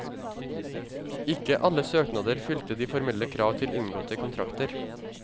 Ikke alle søknader fylte de formelle krav til inngåtte kontrakter.